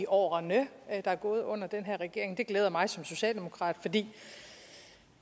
årene der er gået under den her regering det glæder mig som socialdemokrat fordi